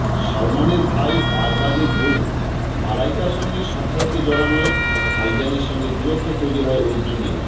সলমনের ভাই আরবাজের বউ মালাইকার সঙ্গে সম্পর্কে জড়ানোয় ভাইজানের সঙ্গে দূরত্ব তৈরি হয় অর্জুনের